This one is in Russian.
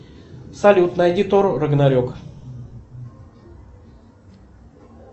салют найди тор рагнарек